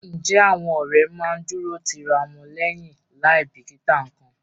Ǹjẹ́ àwọn ọ̀rẹ́ máa ń dúró ti ra wọn lẹ́yìn láì bìkítà nǹkan?